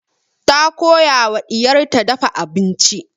Ta koya wa ɗiyar ta dafa abinci.